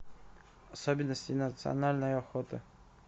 особенности национальной охоты